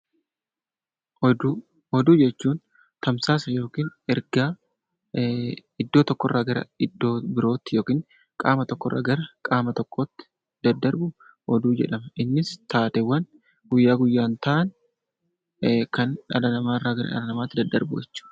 Oduu: Oduu jechuun tamsaasa yookiin ergaa iddoo tokkoorraa gara iddoo biraatti yookiin qaama tokko irraa gara qaama biraatti daddarbu oduu jedhama. Innis taateewwan guyyaa guyyaan ta'an kan dhala namaa irraa gara dhala namaatti daddarbudha.